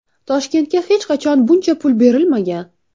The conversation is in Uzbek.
Toshkentga hech qachon buncha pul berilmagan.